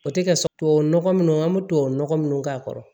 O tɛ kɛ tubabu nɔgɔ minnu an bɛ tubabu nɔgɔ minnu k'a kɔrɔ